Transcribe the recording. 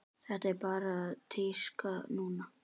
Þetta er bara tíska núna.